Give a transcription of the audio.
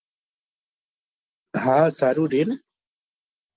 હા સારું રેને